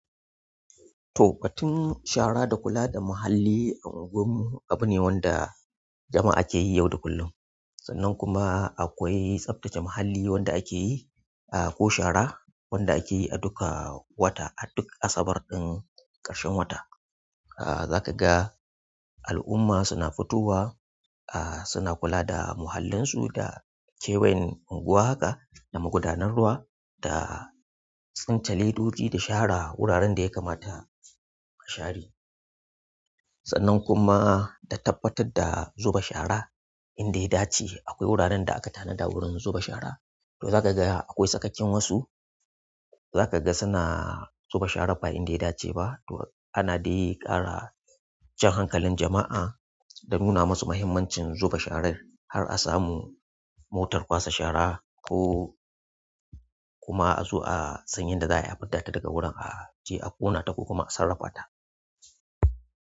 To batun shara da kula da muhalli a anguwar mu abu ne wanda jama'a ke yi yau da kullum. Sannan kuma akwai tsaftace muhalli wanda ake yi, ah ko shara wanda ake yi a duka wata a duk asabar ɗin ƙarshen wata. Ah zaka ga al'umma suna fitowa, ah suna kula da muhallinsu da kewayen unguwa haka, da magudanar ruwa da tsince ledodi da shara wuraren da ya kamata a share. Sannan kuma da tabbatar da zuba shara in da ya dace. Akwai wuraren da aka tanada wurin zuba shara, to zaka ga akwai sakakkin wasu zaka ga suna zuba shara ba'a in da ya dace ba. To ana dai ƙara jan hankalin jama'a da nuna masu mahimmancin zuba sharar har a samu motar ƙwace shara ko kuma a zo a san yanda za a yi a fitta ta daga wurin, a je a ƙona ta ko kuma a sarrafata.